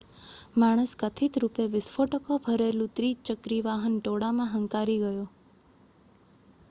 માણસ કથિત રૂપે વિસ્ફોટકો ભરેલું ત્રિચક્રી વાહન ટોળામાં હંકારી ગયો